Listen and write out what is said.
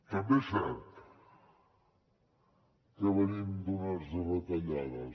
també és cert que venim d’unes retallades